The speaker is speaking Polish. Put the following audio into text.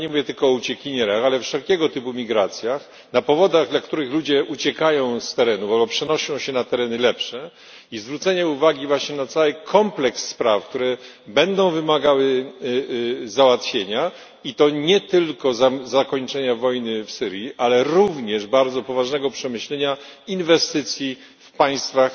Ja nie mówię tylko uciekinierach, ale wszelkiego typu migracjach, na powodach, dla których ludzie uciekają z terenów albo przenoszą się na tereny lepsze i zwrócenie uwagi właśnie na cały kompleks spraw, które będą wymagały załatwienia i to nie tylko zakończenia wojny w Syrii, ale również bardzo poważnego przemyślenia inwestycji w państwach